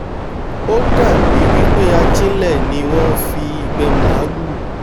ó ó dàbí wípé ajílẹ̀ ni wọ́n ń fi ìgbẹ́ẹ màlúù